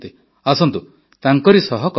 ଆସନ୍ତୁ ତାଙ୍କରି ସହ କଥା ହେବା